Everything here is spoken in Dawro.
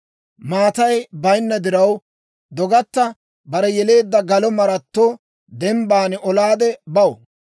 Maatay bayinna diraw, dogatta bare yeleedda galo maratto dembban olaade baw.